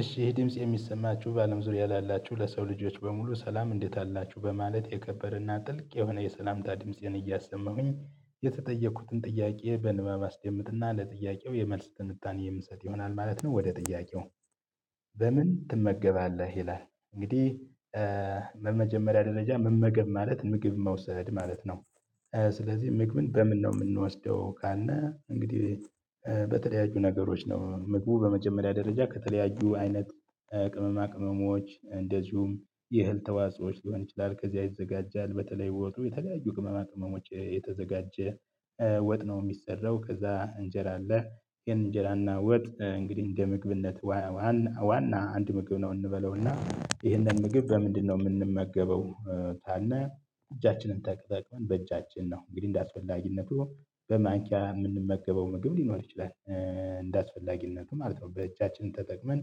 እሺ ድምጽ የሚሰማችሁ በአለም ዙሪያ ላላችሁ ለሰው ልጆች በሙሉ ሰላም እንዴት አላችሁ በማለት የከበረና ጥልቅ የሆነ የሰላምታ ድምፄን እያሰማሁኝ የተጠየኩትን ጥያቄ በንባብ አስድምጥና ለጥያቄው የመልስ ትንታኔ የምትሰጥ ይሆናል ማለት ነው ወደ ጥያቄው በምን ትመገባለህ? ይላል እንግዲህ በመጀመሪያ ደረጃ መመገብ ማለት ምግብ መውሰድ ማለት ነው። ስለዚህ ምግብን በምን ነው የምንወስደው ካልነ እንግዲህ በተለያዩ ነገሮች ነው ምግቡ በመጀመሪያ ደረጃ ከተለያዩ አይነት ቅመማ ቅመሞች እንደዚሁም የእህል ተዋጾዎች ሊሆን ይችላል ከዚያ ይዘጋጃል በተለይ ወጥ የተለያዩ ቅመማ ቅመሞች የተዘጋጀ ወጥ ነው የሚሰራው ከዛ እንጀራ አለ ግን እንጀራና ወጥ እንግዲህ እንደ ምግብነት ዋና ዋና አንድ ምግብ ነው እንበለውና ይህንን ምግብ በምንድነው የምንመገበው ካልነ እጃችንን ተጠቅመን በእጃችን ነው እንግዲህ እንዳስፈላጊነት በማንኪያ የምንመገበው ምግብ ሊኖር ይችላል፣ እንደአስፈላጊነቱ ማለት ነው በእጃችን ተጠቅመን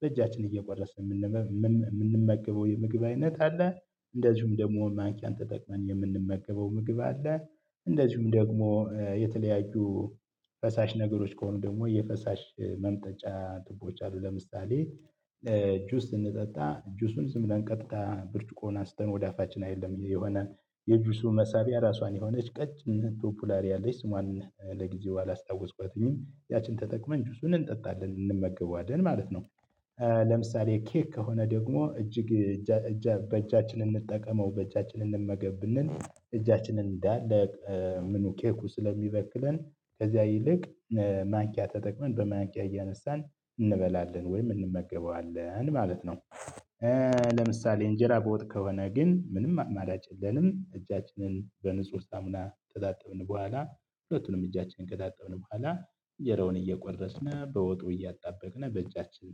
በእጃችን እየቆረስን የምንመገበው የምግብ አይነት አለ፣ እንደዚሁም ደግሞ ማንኪያን ተጠቅመን የምንመገበው ምግብ አለ፣ እንደዚሁም ደግሞ የተለያዩ ፈሳሽ ነገሮች ከሆኑ ደግሞ የፈሳሽ መምጣጫ ቱቦች አሉ ለምሳሌ ጁስ ስንጠጣ እጁሱን ዝም ብለን ቀጥታ ብርጭቆዉን አስተን ወደ አፋችን አይደለም የሆነ የጁሱ መሳቢያ ራሷን የሆነች ቀጭን ያለች ስሟን ለጊዜው አላስታውስኳትኝም ያችን ተጠቅመን ጁሱን እንጠጣለን እንመገባለን ማለት ነው። ለምሳሌ ኬክ ከሆነ ደግሞ እጅግ እጃ እጃ በእጃችን እንጠቀመው በእጃችን እንመገብ ብንል እጃችንን እንዳለ ምኑ ኬኩ ስለሚበክለን ከዚያ ይልቅ ማኪያ ተጠቅመን በማኪያ እያነሳን እንበላለን ወይም እንመገበዋለን ማለት ነው። ለምሳሌ እንጀራ በወጥ ከሆነ ግን ምንም አማራጭ የለንም እጃችንን በንጹህ ሳሙና ከጣጠብን በኋላ ሁለቱንም እጃችንን ከታጠብን በኋላ እንጀራውን እየቆረስን በወጡ እያጣበቅን በእጃችን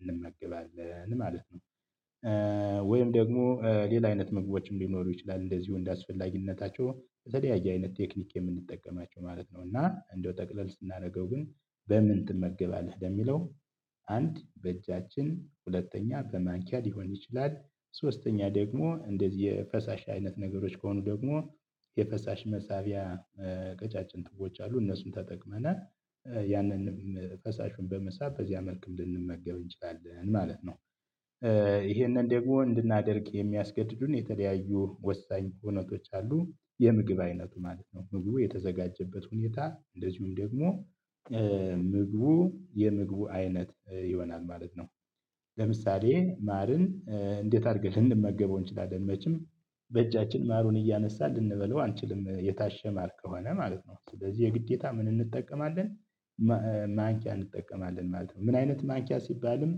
እንመገባለን ማለት ነው። ወይም ደግሞ ሌላ አይነት ምግቦችም ሊኖሩ ይችላል እንደዚሁ እንደአስፈላጊነታቸው በተለያየ አይነት ቴክኒክ የምንጠቀማቸው ማለት ነው እና እንደው ጠቅለል ስናደርገው ግን በምን ትመገባለህ ደግሞ የሚለው አንድ በእጃችን ሁለተኛ በማንኪያ ሊሆን ይችላል ሶስተኛ ደግሞ እንደዚህ የፈሳሽ አይነት ነገሮች ከሆኑ ደግሞ የፈሳሽ መሳቢያ ቀጫጭን ቱቦች አሉ እነሱም ተጠቅመን ያንንም ፈሳሹን በመሳብ በዚያ መልኩም ልንመገብ እንችላለን ማለት ነው። ይሄንን ደግሞ እንድናደርግ የሚያስገድዱን የተለያዩ ወሳኝ ሁኔታዎች አሉ፤ የምግብ አይነቱ ማለት ነው ምግቡ የተዘጋጀበት ሁኔታ እንደዚሁም ደግሞ ምግቡ የምግቡ አይነት ይሆናል ማለት ነው። ለምሳሌ ማርን እንዴት አድርገን ልንመገበው እንችላለን መቼም በእጃችን ማሩን እያነሳን ልንበለው አንችልም የታሸ ማር ከሆነ ማለት ነው ስለዚህ የግዴታ ምን እንጠቀማለን ማንኪያ እንጠቀማለን ማለት ነው ምን አይነት ማኪያ ሲባልም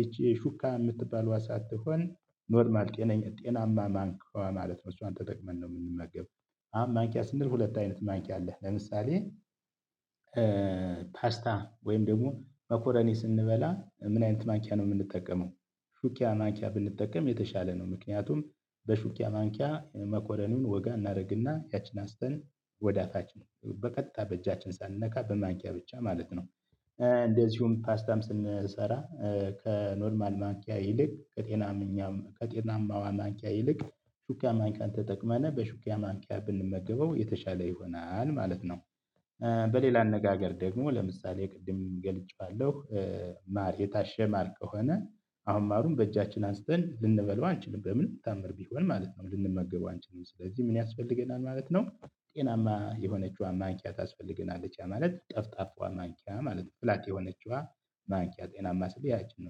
ይቺ ሹካ የምትባለው ሳትሆን ኖርማል ጤናማ ማንኪዋ ማለት ነው እሷን ተጠቅመን ነው የምንመገበው አሁን ማንኪያ ስንል ሁለት አይነት ማንቂያ አለህ ለምሳሌ ፓስታ ወይም ደግሞ መኮረኔ ስንበላ ምን አይነት ማኪያ ነው የምንጠቀመው ሹኪያ ማንኪያ ብንጠቀም የተሻለ ነው ምክንያቱም በሹኪያ ማንኪያ መኮረኑን ወጋ እናደርግና ያቺን አስተን ወዳፋችን በቀጥታ በእጃችን ሳንነካ በማንኪያ ብቻ ማለት ነው እንደዚሁም ፓስታም ስንሰራ ከኖርማል ማንኪያ ይልቅ ከጤናማዋ ማንኪያ ይልቅ ሹኪያ ማኪያን ተጠቅመነ በሹክያ ማንቂያ ብንመገበው የተሻለ ይሆናል ማለት ነው። በሌላ አነጋገር ደግሞ ለምሳሌ ቅድም ገልጬዋለሁ ማር የታሸ ማር ከሆነ አሁን ማሩን በእጃችን አንስተን ልንበለው አንችልም በምን ታምር ቢሆን ማለት ነው ልንመገበው አንችልም ስለዚህ ምን ያስፈልገናል ማለት ነው ጤናማ የሆነችዋን ማንኪያ ታስፈልገናለች ማለት ጠፍጣፏ ማንኪያ ማለት ፍላት የሆነችዋ ማንኪያ ጤናማ ስል ያችን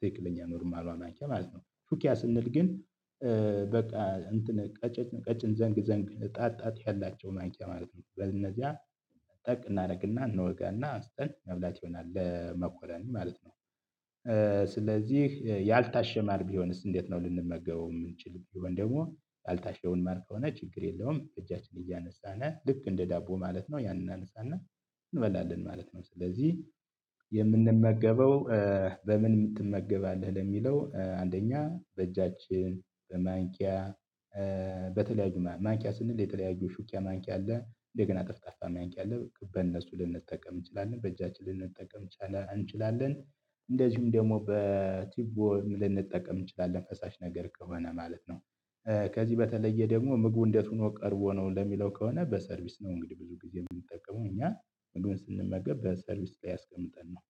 ትክክለኛ ኖርማሏ ማንኪያ ማለት ነው ሹክያ ስንል ግን በቃ እንትን ቀጭን ቀጭን ዘንግ ዘንግ ጣት ጣት ያላቸውን ማንኪያ ማለት ነው በእነዚያ ጠቅ እናደርግና እንወጋና አንስተን መብላት ይሆናል ለመኮረኒ ማለት ነው። ስለዚህ ያልታሸ ማር ቢሆንስ እንዴት ነው ልንመገበው የምንችለው ቢሆን ደግሞ ያልታሸውን ማር ከሆነ ችግር የለውም እጃችን እያነሳን ልክ እንደ ዳቦ ማለት ነው ያንን እናነሳና እንበላለን ማለት ነው ስለዚህ የምንመገበው በምን ትመገባለህ ለሚለው አንደኛ በእጃችን፣ በማንኪያ፣ በተለያዩ ማንኪያ ስንል የተለያዩ ሹኪያ ማንኪያ አለ እንደገና ጠፍጣፋ ማንኪያ አለ በእነሱ ልንጠቀም እንችላለን በእጃችን ልንጠቀም እንችላለን እንችላለን እንደዚሁም ደግሞ በቲቦ ልንጠቀም እንችላለን ፈሳሽ ነገር ከሆነ ማለት ነው። ከዚህ በተለየ ደግሞ ምግቡ እንዴት ሆኖ ቀርቦ ነው ለሚለው ከሆነ በሰርቪስ ነው እንግዲህ ብዙ ጊዜ የምንጠቀመው እኛ ምግቡን በሰርቪስ ላይ አስቀምጠን ነው።